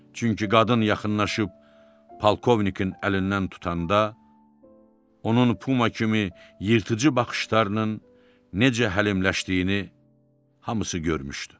Çünki qadın yaxınlaşıb polkovnikin əlindən tutanda onun Puma kimi yırtıcı baxışlarının necə həlimləşdiyini hamısı görmüşdü.